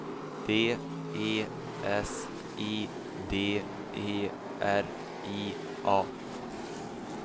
D E S I D E R I A